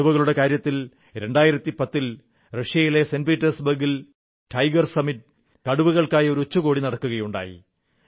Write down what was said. കടുവകളുടെ കാര്യത്തിൽ 2010 ൽ റഷ്യയിലെ സെന്റ് പീറ്റേഴ്സ് ബർഗിൽ ടൈഗർ സമ്മിറ്റ് കടുവകൾക്കൊരു ഉച്ചകോടി നടക്കുകയുണ്ടായി